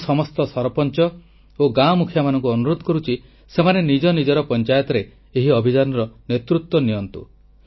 ମୁଁ ସମସ୍ତ ସରପଞ୍ଚ ଓ ଗାଁମୁଖିଆମାନଙ୍କୁ ଅନୁରୋଧ କରୁଛି ସେମାନେ ନିଜ ନିଜର ପଂଚାୟତରେ ଏହି ଅଭିଯାନର ନେତୃତ୍ୱ ନିଅନ୍ତୁ